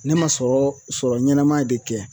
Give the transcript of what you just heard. Ne ma sɔrɔ sɔrɔ ɲɛnɛma de kɛ